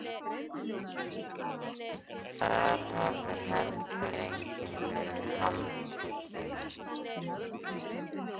Þar hafi heldur enginn verið handtekinn